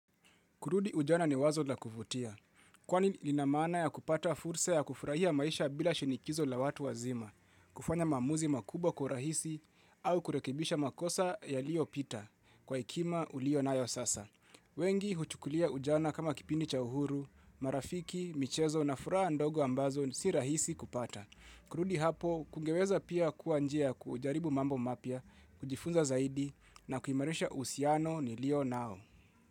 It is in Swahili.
Kurudi ujana ni wazo la kuvutia. Kwani lina maana ya kupata fursa ya kufurahia maisha bila shinikizo la watu wazima. Kufanya maamuzi makubwa kwa urahisi au kurekebisha makosa yaliopita kwa hekima ulio nayo sasa. Wengi huchukulia ujana kama kipindi cha uhuru, marafiki, michezo na furaha ndogo ambazo si rahisi kupata. Kurudi hapo, kungeweza pia kuwa njia ya kujaribu mambo mapya, kujifunza zaidi na kuimarisha uhusiano nilio nao.